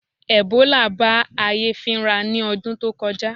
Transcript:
Ẹ̀bólà bá ayé fínra ní ọdún tó kọjá